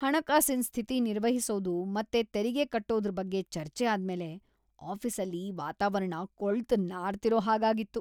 ಹಣಕಾಸಿನ್ ಸ್ಥಿತಿ ನಿರ್ವಹಿಸೋದು ಮತ್ತೆ ತೆರಿಗೆ ಕಟ್ಟೋದ್ರ್ ಬಗ್ಗೆ ಚರ್ಚೆ ಆದ್ಮೇಲೆ ಆಫೀಸಲ್ಲಿ ವಾತಾವರಣ ಕೊಳ್ತು ನಾರ್ತಿರೋ ಹಾಗಾಗಿತ್ತು.